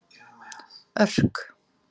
Örk